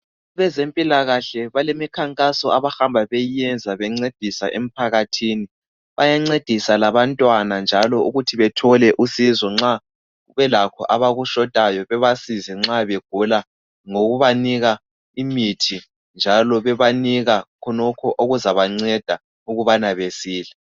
Abezempilakahle balemikhankaso abahamba beyiyenza bencedisa emphakathini, bayancedisa labantwana njalo ukuthi bathole usizo nxa belakho abakushotayo bebasize nxa begula ngokubanika imithi njalo bebanika khonokho okuzabanceda ukubane besile.